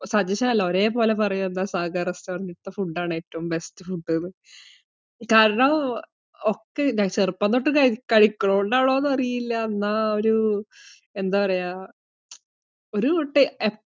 suggestion അല്ല. ഒരേപോലെ പറയും സാഗർ restaurant ഇലെ ഫുഡ് ആണ് ഏറ്റവും best ഫുഡ് എന്ന്. കാരണം ഉം ചെറുപ്പം തൊട്ടു കഴിക്കുന്നതുകൊണ്ട് ആണോന്നു അറിയില്ല, എന്ന ആ ഒരു, എന്താ പറയുവാ, ഒരു.